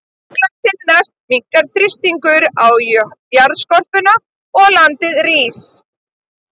Þegar jöklar þynnast minnkar þrýstingur á jarðskorpuna og landið rís.